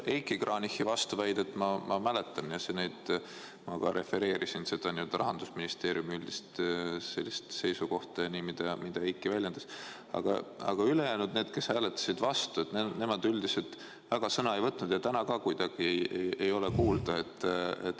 Heiki Kranichi vastuväidet ma mäletan ja ma ka refereerisin Rahandusministeeriumi üldist seisukohta ja mida Heiki väljendas, aga ülejäänud, kes hääletasid vastu, nemad väga sõna ei võtnud ja ka täna ei ole neid kuulda.